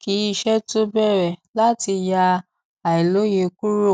kí iṣé tó bẹrẹ láti yá àìlòye kúrò